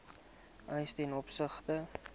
eise ten opsigte